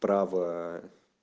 права